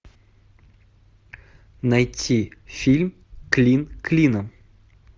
найти фильм клин клином